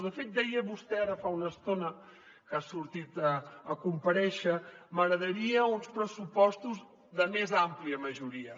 de fet deia vostè ara fa una estona que ha sortit a comparèixer m’agradarien uns pressupostos de més àmplia majoria